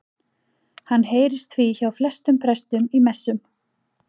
Hann heyrist því hjá flestum prestum í messum.